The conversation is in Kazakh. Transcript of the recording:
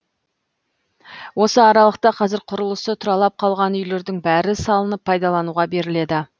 осы аралықта қазір құрылысы тұралап қалған үйлердің бәрі салынып пайдалануға беріледі